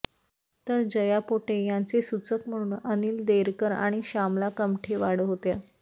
तर जया पोटे यांचे सूचक म्हणून अनिल देरकर आणि श्यामला कमठेवाड होत्या